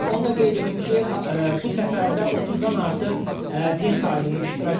Onu da qeyd edim ki, bu səfərdə 30-dan artıq din xadimi iştirak eləyir.